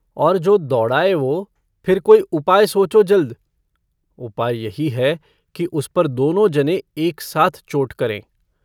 और जो दौड़ाये वो फिर कोई उपाय सोचो जल्द उपाय यही है कि उस पर दोनो जनें एक साथ चोट करें।